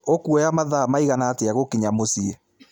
ĩkũoya mathaa riĩgana atĩa gũkinya mũciĩ